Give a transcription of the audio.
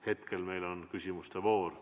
Hetkel on meil aga küsimuste voor.